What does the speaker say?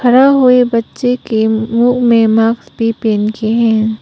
बच्चे के मुंह में मास्क भी पहन किए हैं।